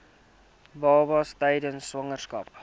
babas tydens swangerskap